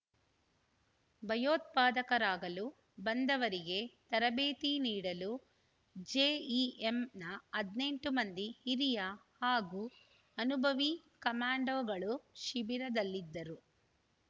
ಭಯೋತ್ಪಾದಕರಾಗಲು ಬಂದವರಿಗೆ ತರಬೇತಿ ನೀಡಲು ಜೆಇಎಂನ ಹದಿನೆಂಟು ಮಂದಿ ಹಿರಿಯ ಹಾಗೂ ಅನುಭವೀ ಕಮೆಂಡೊ ಗಳು ಶಿಬಿರದಲ್ಲಿದ್ದರು